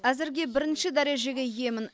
әзірге бірінші дәрежеге иемін